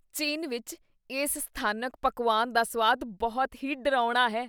ਚੀਨ ਵਿੱਚ ਇਸ ਸਥਾਨਕ ਪਕਵਾਨ ਦਾ ਸੁਆਦ ਬਹੁਤ ਹੀ ਡਰਾਉਣਾ ਹੈ।